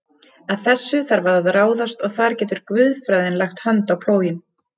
Að þessu þarf að ráðast og þar getur guðfræðin lagt hönd á plóginn.